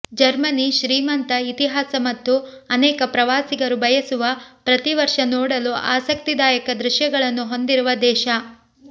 Germany ಶ್ರೀಮಂತ ಇತಿಹಾಸ ಮತ್ತು ಅನೇಕ ಪ್ರವಾಸಿಗರು ಬಯಸುವ ಪ್ರತಿ ವರ್ಷ ನೋಡಲು ಆಸಕ್ತಿದಾಯಕ ದೃಶ್ಯಗಳನ್ನು ಹೊಂದಿರುವ ದೇಶ